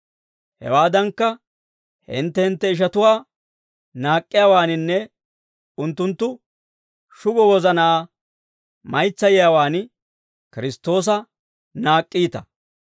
Hawaadankka, hintte hintte ishatuwaa naak'k'iyaawaaninne unttunttu shugo wozanaa maytsiyaawaan Kiristtoosa naak'k'iita.